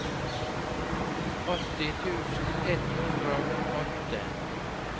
åtti tusen ett hundre og åtte